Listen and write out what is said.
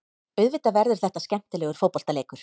Auðvitað verður þetta skemmtilegur fótboltaleikur.